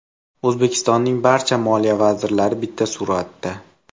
O‘zbekistonning barcha moliya vazirlari bitta suratda.